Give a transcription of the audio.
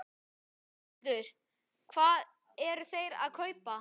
Höskuldur: Hvað eru þeir að kaupa?